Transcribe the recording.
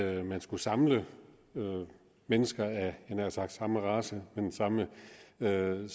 at man skulle samle mennesker af jeg havde nær sagt samme race med det samme erhverv